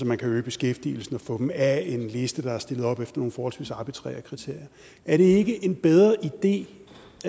man kan øge beskæftigelsen og få dem af en liste der er stillet op efter nogle forholdsvis arbitrære kriterier er det ikke en bedre idé